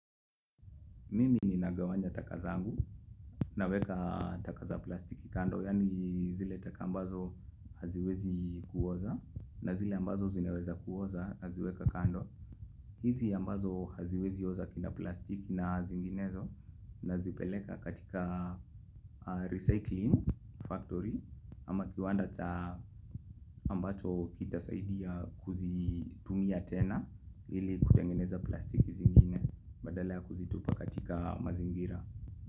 Mimi ninagawanya taka zangu naweka taka za plastiki kando yaani zile taka ambazo haziwezi kuoza na zile ambazo zineweza kuoza naziweka kando. Hizi ambazo haziwezi oza kina plastiki na zinginezo nazipeleka katika recycling factory ama kiwanda cha ambacho kitasaidia kuzitumia tena ili kutengeneza plastiki zingine badala ya kuzitupa katika mazingira.